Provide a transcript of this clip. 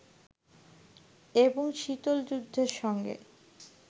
এবং শীতল যুদ্ধের সঙ্গে